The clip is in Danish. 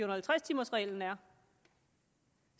og halvtreds timers reglen er